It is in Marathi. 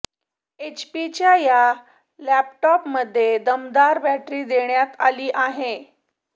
एचपीच्या या लॅपटॉपमध्ये दमदार बॅटरी देण्यात आली आहे